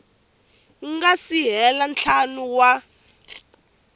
nga si hela ntlhanu wa